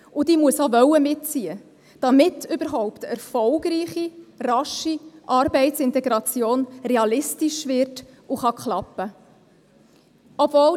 Und sie muss auch mitziehen wollen, damit überhaupt eine erfolgreiche und rasche Arbeitsintegration realistisch wird und klappen kann.